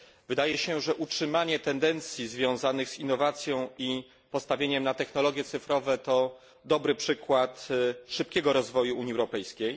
Wydaje się, że utrzymanie tendencji związanych z innowacją i postawieniem na technologie cyfrowe to dobry przykład szybkiego rozwoju Unii Europejskiej.